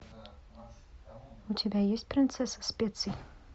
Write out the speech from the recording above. у тебя есть принцесса специй